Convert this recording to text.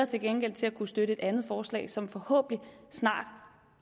til gengæld til at kunne støtte et andet forslag som forhåbentlig snart